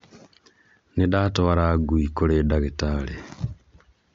Nĩndatwara ngui kũrĩ ndagĩtarĩ